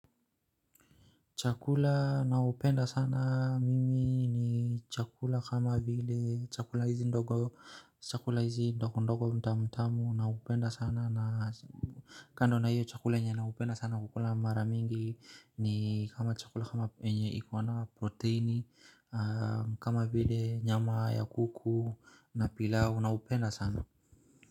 Chakula nao penda sana mimi ni chakula kama vile chakula hizi ndogo ndogo tamu na upenda sana na kando na hiyo chakula yenye nao penda sana kukula maramingi ni kama chakula kama yenye iko na proteini kama vile nyama ya kuku na pilau na upenda sana.